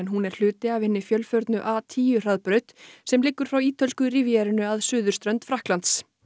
hún er hluti af hinni fjölförnu a tíu hraðbraut sem liggur frá ítölsku að suðurströnd Frakklands